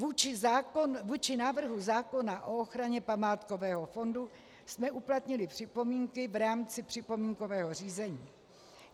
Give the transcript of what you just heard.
Vůči návrhu zákona o ochraně památkového fondu jsme uplatnili připomínky v rámci připomínkového řízení.